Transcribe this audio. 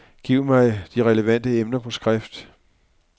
Giv mig de relevante emner på skrift.